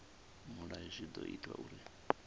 mulayo zwi ḓo ita uri